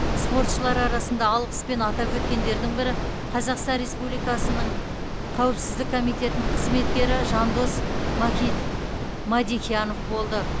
спортшылар арасында алғыспен атап өткендердің бірі қазақстан республикасының қаупсіздік комитетінің қызметкері жандос мадехиянов болды